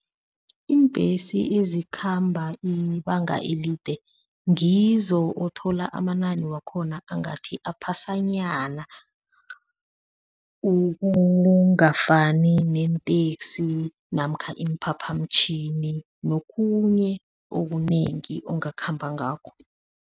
Iimbhesi ezikhamba ibanga elide ngizo othola amanani wakhona angathi aphasanyana ukungafani neenteksi namkha iimphaphamtjhini nokhunye okunengi ungakhamba ngakho.